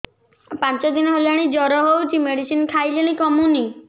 ପାଞ୍ଚ ଦିନ ହେଲାଣି ଜର ହଉଚି ମେଡିସିନ ଖାଇଲିଣି କମୁନି